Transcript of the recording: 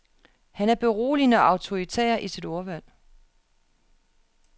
Han er beroligende og autoritær i sit ordvalg.